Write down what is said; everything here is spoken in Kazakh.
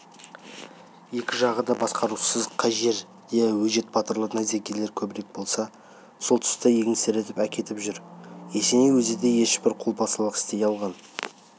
екі жағы да басқарусыз қай жерде өжет батырлар найзагерлер көбірек болса сол тұс еңсеріп әкетіп жүр есеней өзі де ешбір қолбасылық істей алған